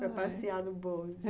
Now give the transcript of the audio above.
Para passear no bonde.